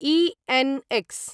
ENX .